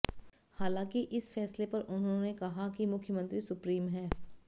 हालांकि इस फैसले पर उन्होंने कहा कि मुख्यमंत्री सुप्रीम हैं